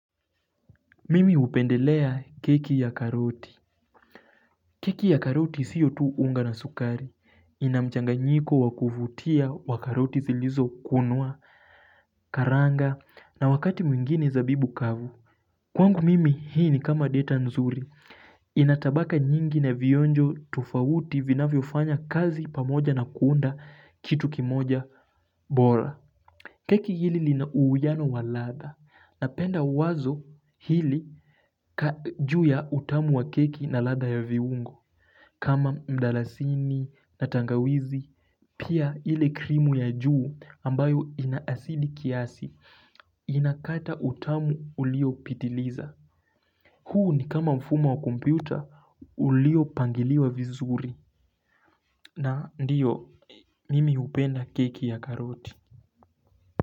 Mimi hupendelea keki ya karoti Keki ya karoti siyo tu unga na sukari Inamchanga nyiko wakuvutia wa karoti zilizo kunwa karanga na wakati mwingine zabibu kavu Kwangu mimi hii ni kama deta nzuri Inatabaka nyingi na vionjo tofawuti vinafyo fanya kazi pamoja na kuunda kitu kimoja bora Keki hili li na uiwano waladha Napenda wazo hili juu ya utamu wa keki na ladha ya viungo kama mdalasini na tangawizi Pia ile krimu ya juu ambayo inaasidi kiasi Inakata utamu ulio pitiliza huu ni kama mfumo wa kumpyota ulio pangiliwa vizuri na ndiyo mimi upenda keki ya karoti.